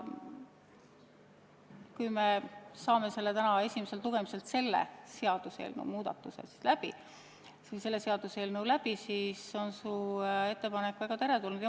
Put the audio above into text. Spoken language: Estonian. Kui me saame selle seaduse muutmise eelnõu täna esimeselt lugemiselt läbi, siin on su ettepanek väga teretulnud.